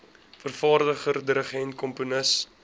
vervaardiger dirigent komponis